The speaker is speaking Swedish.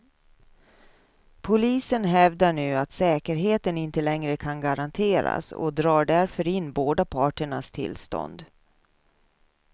Polisen hävdar nu att säkerheten inte längre kan garanteras, och drar därför in båda parternas tillstånd.